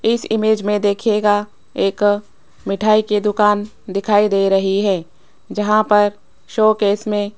इस इमेज में दिखेगा एक मिठाई की दुकान दिखाई दे रही है जहां पर शोकेस में --